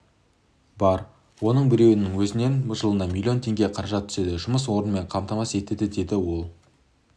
бар оның біреуінің өзінен жылына миллион теңге қаражат түседі жұмыс орнымен қамтамасыз етеді деді ол